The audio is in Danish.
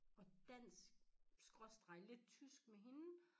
Og dansk skråstreg lidt tysk med hende